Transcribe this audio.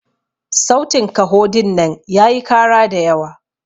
sautin kaho dinnan yayi kara da yawa.